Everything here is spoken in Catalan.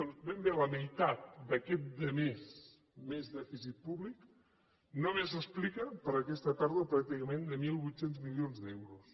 doncs ben bé la meitat d’aquest de més de més dèficit públic només s’explica per aquesta pèrdua pràcticament de mil vuit cents milions d’euros